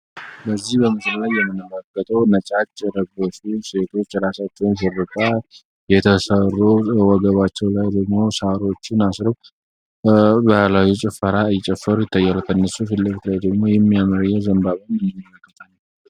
በዚህ በምስሉ የምንመለከተው ነጫጭ የለበሱ ሴቶች ራሳቸውን ሹሩባ የተሰሩ ወገባቸው ላይ ደግሞ ሳሮችን አስረው ባህላዊ ጭፈራ እየጨፈሩ ይታያሉ። ከነሱ ፊት ለፊለፊት ደግሞ የሚያምር ዝንባባ አለ።